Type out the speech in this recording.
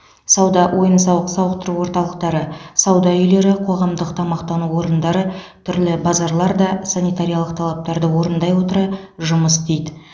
сауда ойын сауық сауықтыру орталықтары сауда үйлері қоғамдық тамақтану орындары түрлі базарлар да санитариялық талаптарды орындай отыра жұмыс істейді